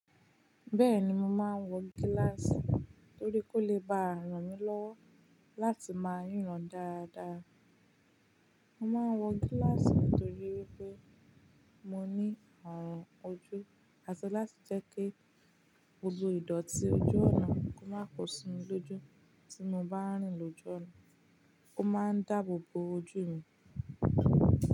Bẹ́ẹ̀ni, mo máa ń wọ gíláàsì torí kó lè bá ranmi lọ́wọ́ láti máa ríran dáadáa. Mo máa ń wọ gíláàsì nítorí wípé mo ní arun ojú, àti láti jẹ́ kí gbogbo ìdọ̀tí ojú ọ̀nà kó máa kún sínu lójú tí mo bá ń rìn lójú ọ̀nà. Ó máa ń dáàbò bo ojú mi.